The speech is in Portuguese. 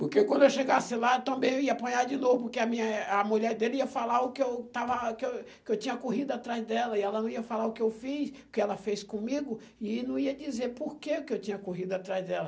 Porque quando eu chegasse lá, também eu ia apanhar de novo, porque a minha a mulher dele ia falar o que eu estava que eu que eu tinha corrido atrás dela, e ela não ia falar o que eu fiz, o que ela fez comigo, e não ia dizer por que que eu tinha corrido atrás dela.